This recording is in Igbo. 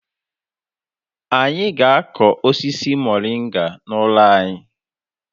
Anyị ga-akụ osisi Moringa n'ụlọ anyị.